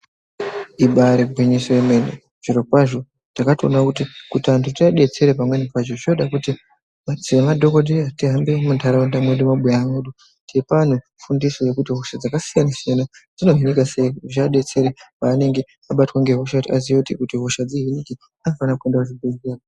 Ibari gwinyiso yemene zviro kwazvo takatoona kuti kuti antu tiabetsere pamweni pacho zvinoda kuti semadhogodheya tihambe muntaraunda mwedu mumabura mwedu. Teipa vantu fundiso yekuti hosha dzakasiyana-siyana, dzinohinika sei zvivabetsere panenge abatwa ngehosha kuti aziye kuti hosha dzihinike anofana kuenda kuchibhedhlera.